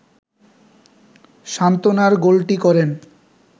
সান্ত্বনার গোলটি করেন